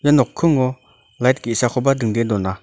ia nokkingo lait ge·sakoba dingdee dona.